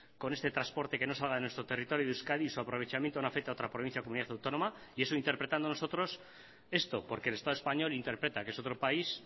con este transporte que no salga de nuestro territorio de euskadi y su aprovechamiento no afecta a otra provincia o comunidad autónoma y eso interpretando nosotros esto porque el estado español interpreta que es otro país